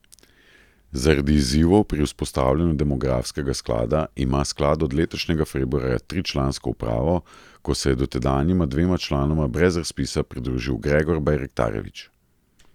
Zaradi izzivov pri vzpostavljanju demografskega sklada ima sklad od letošnjega februarja tričlansko upravo, ko se je dotedanjima dvema članoma brez razpisa pridružil Gregor Bajraktarević.